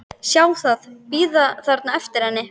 Sjá það bíða þarna eftir henni.